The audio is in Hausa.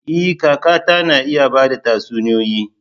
E! kakata na iya ba da tatsuniyoyi.